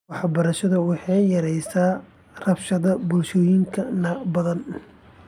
Waxbarashadu waxay yaraysay rabshadihii bulshooyin badan .